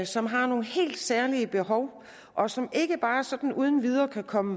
som har nogle helt særlige behov og som ikke bare sådan uden videre kan komme